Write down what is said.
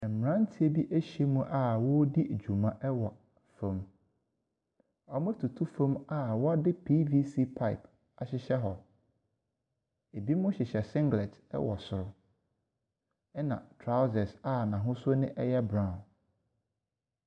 Mmranteɛ bi ɛhyia mu a ɔredi dwuma ɛwɔ fam. Ɔretutu fam a wɔde pvc pipe ɛrehyɛhyɛ hɔ. Ebinom hyehyɛ singlet ɛwɔ soro ɛna trousers a n'ahosuo no ɛyɛ brown.